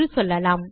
என்று சொல்லலாம்